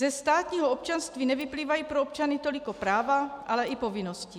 Ze státního občanství nevyplývají pro občany toliko práva, ale i povinnosti.